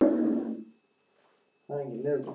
Jói reif húfuna af sér.